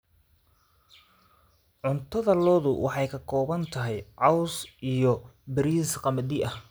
Cuntada lo'du waxay ka kooban tahay caws iyo bariis qamadi ah.